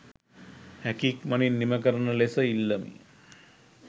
හැකි ඉක්මනින් නිම කරන ලෙස ඉල්ලමි.